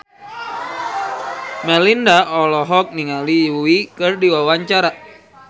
Melinda olohok ningali Yui keur diwawancara